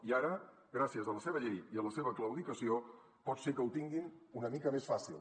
i ara gràcies a la seva llei i a la seva claudicació pot ser que ho tinguin una mica més fàcil